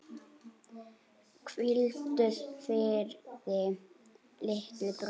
Hvíldu friði, litli bróðir.